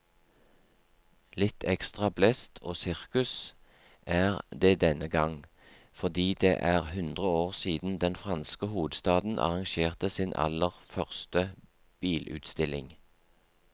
Litt ekstra blest og sirkus er det denne gang, fordi det er hundre år siden den franske hovedstaden arrangerte sin aller første bilutstilling.